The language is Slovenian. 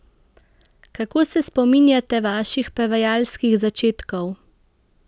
Kako se spominjate vaših prevajalskih začetkov?